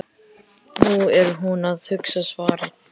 Nú er hún að hugsa svarið.